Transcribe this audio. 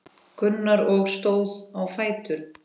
Gunnar og stóð á fætur.